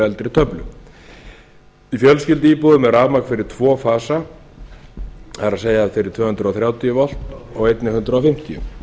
eldri töflu í fjölskylduíbúðum er rafmagn fyrir tvo fasa það er fyrir tvö hundruð þrjátíu volt og einnig hundrað fimmtíu